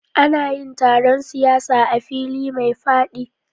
Ana yin taron siyasa a fili mai faɗi